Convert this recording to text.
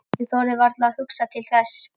Ég þorði varla að hugsa til þess.